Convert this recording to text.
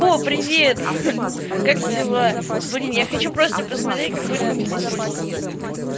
о привет как дела блин я хочу просто посмотреть как будет выглядеть польский язык